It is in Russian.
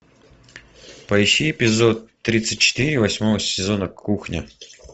поищи эпизод тридцать четыре восьмого сезона кухня